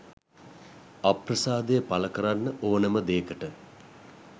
අප්‍රසාදය පල කරන්න ඕනම දේකට